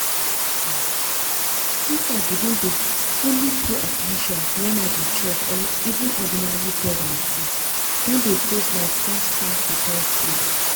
ah! since i begin dey fully pay at ten tion when i dey chop even ordinary bread and tea don dey taste like 5-star hotel food.